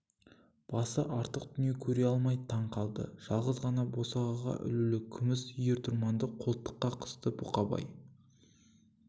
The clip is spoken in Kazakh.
басы артық дүние көре алмай таң қалды жалғыз ғана босағаға ілулі күміс ер-тұрманды қолтыққа қысты бұқабай